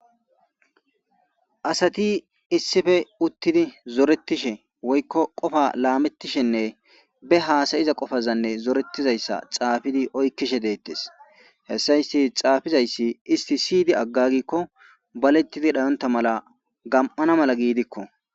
Asati issippe uttidi,zoretishe woyko qofa laametishenne be haasa'iza qofaza xaafi oykishe deetees. Hessa isti xaafizaysi isti si'idi agagiko baletidi dhayonta mala gam'ana mala giidiko.